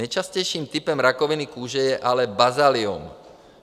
Nejčastějším typem rakoviny kůže je ale bazaliom.